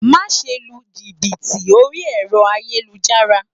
Máse lu jìbìtì orí ẹ̀rọ ayélujára